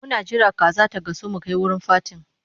Muna jira kaza ta gasu mu kai wurin fatin.